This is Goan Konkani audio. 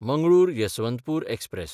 मंगळूर–यसवंतपूर एक्सप्रॅस